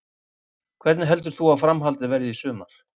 Hvernig heldur þú að framhaldið verði í sumar?